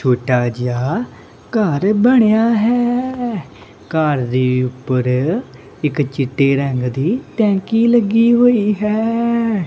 ਛੋਟਾ ਜੇਹਾ ਘੱਰ ਬਣਿਆ ਹੈ ਘੱਰ ਦੇ ਊਪਰ ਇੱਕ ਚਿੱਟੇ ਰੰਗ ਦੀ ਟੈਂਕੀ ਲੱਗੀ ਹੋਈ ਹੈ। ਛੋਟਾ ਜੇਹਾ ਘੱਰ ਬਣਿਆ ਹੈ ਘੱਰ ਦੇ ਊਪਰ ਇੱਕ ਚਿੱਟੇ ਰੰਗ ਦੀ ਟੈਂਕੀ ਲੱਗੀ ਹੋਈ ਹੈ।